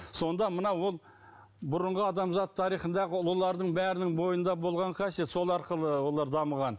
сонда мына ол бұрынғы адамзат тарихындағы ұлылардың бәрінің бойында болған қасиет сол арқылы олар дамыған